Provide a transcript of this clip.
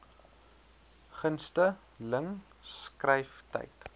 gunste ling skryftyd